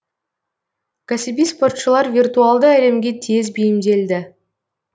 кәсіби спортшылар виртуалды әлемге тез бейімделді